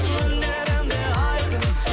өнерім де айқын